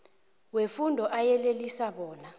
wefundo ayeleliswa bona